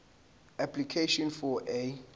application for a